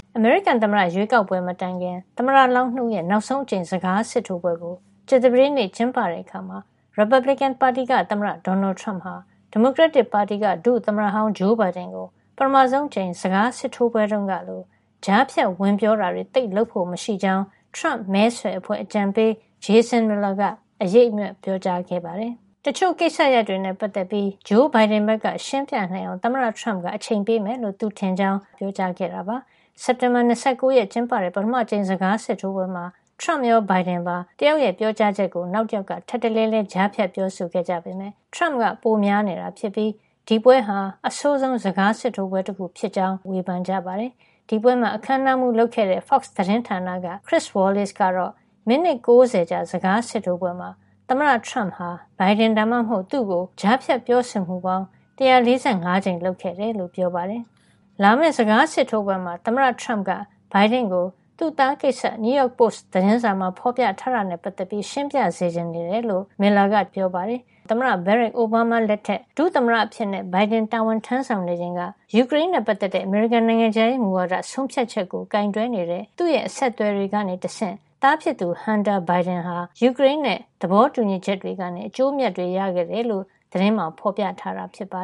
အမေရိကန်သမ္မတရွေးကောက်ပွဲ မတိုင်ခင် သမ္မတလောင်း ၂ ဦးရဲ့ နောက်ဆုံးအကြိမ် စကားစစ်ထိုးပွဲကို ကြာသပတေးနေ့ ကျင်းပတဲ့အခါမှာ ရီပတ်ဘလစ်ကန်ပါတီက သမ္မတ Donald Trump ဟာ ဒီမိုကရက်တစ်ပါတီက ဒုသမ္မတဟောင်း Joe Biden ကို ပထမဆုံးအကြိမ် စကားစစ်ထိုးပွဲတုန်းကလို ကြားဖြတ်ဝင်ပြောတာတွေ သိပ်လုပ်ဖို့မရှိကြောင်း Trump မဲဆွယ်အဖွဲ့ အကြံပေး Jason Miller က အရိပ်အမြွက် ပြောကြားခဲ့ပါတယ်။ တချို့ကိစ္စရပ်တွေနဲ့ ပတ်သက်ပြီး Joe Biden ဘက်က ရှင်းပြနိုင်အောင် သမ္မတ Trump က အချိန်ပေးမယ်လို့ သူထင်ကြောင်း Fox သတင်းဌာန မေးမြန်းခန်းမှာ Miller က ပြောခဲ့တာပါ။ စက်တင်ဘာ ၂၉ ရက်မှာ ကျင်းပတဲ့ ပထမအကြိမ် စကားစစ်ထိုးပွဲမှာ Trump ရော Biden ပါ တယောက်ပြောကြားချက်ကို နောက်တယောက်က ထပ်တလဲလဲ ကြားဖြတ်ပြောဆိုခဲ့ကြပေမယ့် Trump က ပိုများနေတာဖြစ်ပြီး ဒီပွဲဟာ အဆိုးဆုံး စကားစစ်ထိုးပွဲတခု ဖြစ်ကြောင်း အမေရိကန် နိုင်ငံရေးသုံးသပ်သူတွေက ဝေဖန်ကြပါတယ်။ ဒီပွဲမှာ အခန်းအနားမှူး လုပ်ခဲ့တဲ့ Fox သတင်းဌာနက Chris Wallace ကတော့ မိနစ် ၉၀ ကြာ စကားစစ်ထိုးပွဲမှာ သမ္မတ Trump ဟာ Biden ဒါမှမဟုတ် သူ့ကို ကြားဖြတ်ပြောဆိုမှုပေါင်း ၁၄၅ ကြိမ် လုပ်ခဲ့တယ်လို့ ပြောပါတယ်။ လာမယ့် စကားစစ်ထိုးပွဲမှာ သမ္မတ Trump က Biden ကို သူ့သားကိစ္စ New York Post သတင်းစာမှာ ဖော်ပြထားတာနဲ့ ပတ်သက်ပြီး ရှင်းပြစေချင်နေတယ်လို့ Miller က တနင်္ဂနွေနေ့မှာ ပြောပါတယ်။ ၂၀၀၉-၂၀၁၇ သမ္မတ Barack Obama လက်ထက် ဒုသမ္မတအဖြစ် Biden တာဝန်ထမ်းဆောင်နေချိန်က ယူကရိန်းနဲ့ ပတ်သက်တဲ့ အမေရိကန် နိုင်ငံခြားရေးမူဝါဒ ဆုံးဖြတ်ချက်ကို ကိုင်တွယ်နေတဲ့ သူ့အဆက်အသွယ်တွေကနေ တဆင့် သားဖြစ်သူ Hunter Biden ဟာ ယူကရိန်းနဲ့ သဘောတူညီချက်တွေကနေ အကျိုးအမြတ်တွေ ရခဲ့တယ်လို့ သတင်းမှာ ဖော်ပြထားတာပါ